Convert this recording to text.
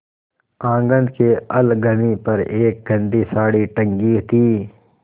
आँगन की अलगनी पर एक गंदी साड़ी टंगी थी